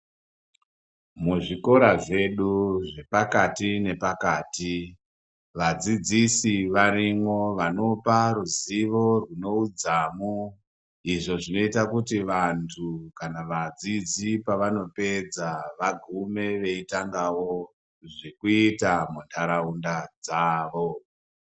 Mu zvikora zvedu zve pakati ne pakati vadzidzisi varimwo vanopa ruzivo rwune udzamu izvo zvinoota kuti vantu kana vadzidzi pavano pedza vagume veitangawo zvekuita mu ndaraunda dzavo.